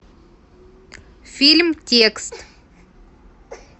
фильм текст